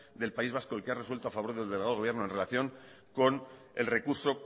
del país vasco el que ha resuelto a favor del delegado del gobierno en relación con el recurso